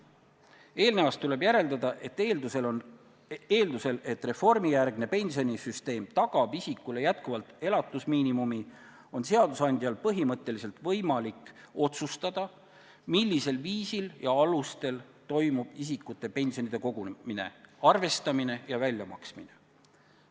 Eelnevast tuleb järeldada, et eeldusel, et reformijärgne pensionisüsteem tagab isikule jätkuvalt elatusmiinimumi, on seadusandjal põhimõtteliselt võimalik otsustada, millisel viisil ja alustel toimub isikute pensionide kogumine, arvestamine ja väljamaksmine.